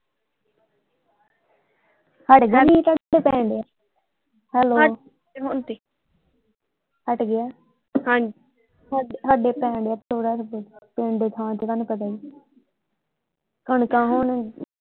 ਹਾਡੇ ਪੈਣ ਡਯਾ ਹੈਲੋ ਹਟ ਗਿਆ ਹੁਣ ਤੇ ਹਟ ਗਿਆ ਸਾਡੇ ਪੈਣ ਡਯਾ ਥੋੜਾ ਕ ਪਿੰਡ ਦੀ ਥਾਂ ਤੇ ਤੁਹਾਨੂ ਪਤਾ ਹੀ ਆ ਕਣਕਾਂ ਹੁਣ।